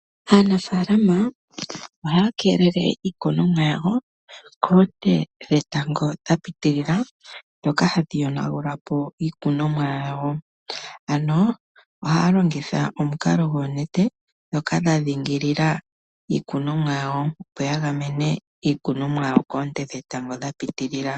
Aanafaalama ohaa keelele iikunomwa yawo koonte dhetango dha pitilila, ndhoka hadhi yonagula pi iikunomwa yawo, ano ohaya longitha omukalo goonete, ndhoka dha dhingilila iikunomwa yawo opo ya gamene iikunomwa yawo koonte dhetango dha pitilila.